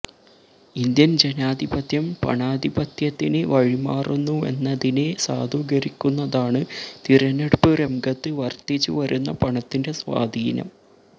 Indian ജനാധിപത്യം പണാധിപത്യത്തിന് വഴിമാറുന്നുവെന്നതിനെ സാധൂകരിക്കുന്നതാണ് തിരഞ്ഞെടുപ്പ് രംഗത്ത് വര്ധിച്ചു വരുന്ന പണത്തിന്റെ സ്വാധീനം